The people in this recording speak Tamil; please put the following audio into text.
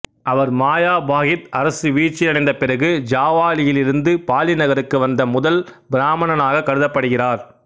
அவர் மயாபாகித்து அரசு வீழ்ச்சி அடைந்த பிறகு ஜாவாவிலிருந்து பாலி நகருக்கு வந்த முதல் பிராமணனாகக் கருதப்படுகிறார்